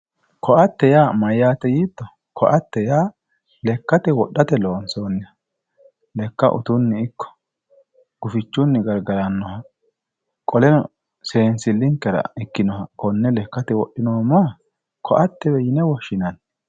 koatte yaa mayyaate yiitto? koatte ya lekkate wodhate loonsoonniha lekka utunni ikko gufichunni gargarannoha qoleno seensillinkera ikkinoha konne lekkate wodhinoommoha koattewe yine woshshinanni.